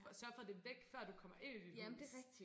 Sørge for det væk før du kommer ind i dit hus